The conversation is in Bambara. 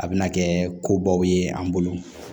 A bɛna kɛ ko baw ye an bolo